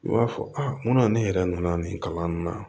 I b'a fɔ a munna ne yɛrɛ nana nin kalan nin na